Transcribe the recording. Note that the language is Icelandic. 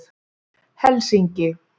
Helsinki